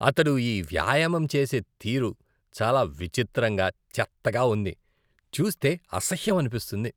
అతడు ఈ వ్యాయామం చేసే తీరు చాలా విచిత్రంగా, చెత్తగా ఉంది, చూస్తే అసహ్యం అనిపిస్తుంది.